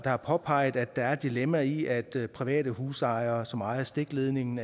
har påpeget at der er et dilemma i at der er private husejere som ejer stikledningen